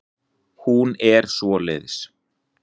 Hún er svoleiðis.